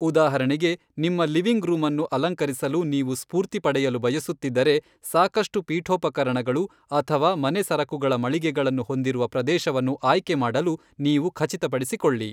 ಉದಾಹರಣೆಗೆ, ನಿಮ್ಮ living room ಅನ್ನು ಅಲಂಕರಿಸಲು ನೀವು ಸ್ಫೂರ್ತಿ ಪಡೆಯಲು ಬಯಸುತ್ತಿದ್ದರೆ, ಸಾಕಷ್ಟು ಪೀಠೋಪಕರಣಗಳು ಅಥವಾ ಮನೆ ಸರಕುಗಳ ಮಳಿಗೆಗಳನ್ನು ಹೊಂದಿರುವ ಪ್ರದೇಶವನ್ನು ಆಯ್ಕೆ ಮಾಡಲು ನೀವು ಖಚಿತಪಡಿಸಿಕೊಳ್ಳಿ.